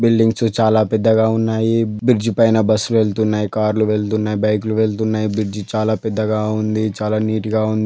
Buildings చాలా పెద్దగా ఉన్నాయి. బ్రిడ్జి పైన బస్ వెళ్తున్నాయి కార్లు వెళ్తున్నాయి బైకులు వెళ్తున్నాయి బ్రిడ్జి చాలా పెద్దగా ఉంది. చాలా నీట్ గా ఉ --